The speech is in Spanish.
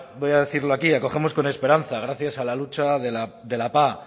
voy a decirlo aquí acogemos con esperanza gracias a la lucha de la pah